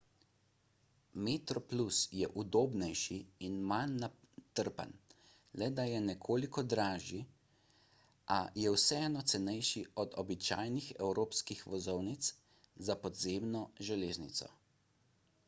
metroplus je udobnejši in manj natrpan le da je nekoliko dražji a je vseeno cenejši od običajnih evropskih vozovnic za podzemno železnico